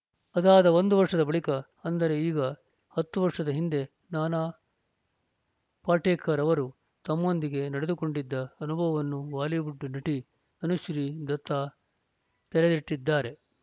ಅದಾದ ಒಂದು ವರ್ಷದ ಬಳಿಕ ಅಂದರೆ ಈಗ ಹತ್ತು ವರ್ಷದ ಹಿಂದೆ ನಾನಾ ಪಾಟೇಕರ್‌ ಅವರು ತಮ್ಮೊಂದಿಗೆ ನಡೆದುಕೊಂಡಿದ್ದ ಅನುಭವವನ್ನು ಬಾಲಿವುಡ್‌ ನಟಿ ತನುಶ್ರೀ ದತ್ತಾ ತೆರೆದಿಟ್ಟಿದ್ದಾರೆ